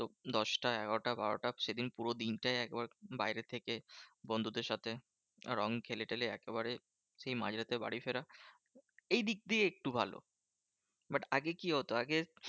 দশটা, এগারোটা, বারোটা, সেদিন পুরো দিনটাই একবার বাইরে থেকে বন্ধুদের সাথে রং খেলে টেলে একেবারে সেই মাঝরাতে বাড়ি ফেরা। এইদিক দিয়ে একটু ভালো। but আগে কি হতো? আগে